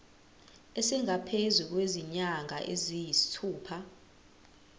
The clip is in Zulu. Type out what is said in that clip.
esingaphezu kwezinyanga eziyisithupha